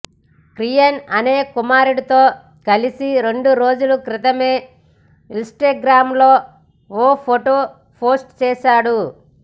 కియాన్ అనే కుమారుడితో కలిసి రెండు రోజుల క్రితమే ఇన్స్టాగ్రామ్లో ఓ ఫొటో పోస్టు చేశాడు